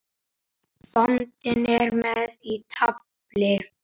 Bóndi er með í tafli.